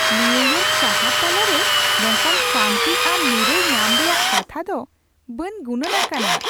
New York ᱥᱟᱦᱟᱨ ᱛᱟᱞᱟ ᱨᱮ ᱱᱚᱝᱠᱟᱱ ᱥᱟᱹᱱᱛᱤ ᱥᱨ ᱱᱤᱨᱟᱹᱭ ᱧᱟᱢ ᱨᱮᱭᱟᱜ ᱠᱟᱛᱷᱟ ᱫᱚ ᱵᱟᱹᱧ ᱜᱩᱱᱟᱹᱱ ᱟᱠᱟᱱᱟ !